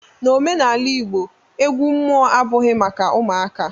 N'omenala igbo, egwu mmụọ abụghị maka ụmụaka